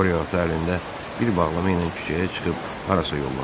qoriya ata əlində bir bağlama ilə küçəyə çıxıb harasa yollandı.